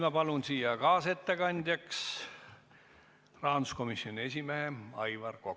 Ma palun kaasettekandjaks rahanduskomisjoni esimehe Aivar Koka.